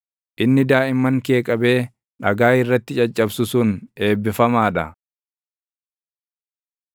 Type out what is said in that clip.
Inni daaʼimman kee qabee dhagaa irratti caccabsu sun eebbifamaa dha.